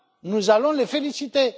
Nous allons les féliciter.